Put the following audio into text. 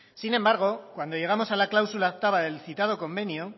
sin embargo cuando llegamos a la cláusula octava del citado convenio